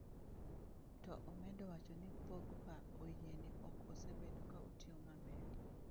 To omedo wacho ni Pogba oyie ni ok osebedo ka otiyo maber.